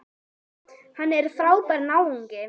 Hann er frábær náungi.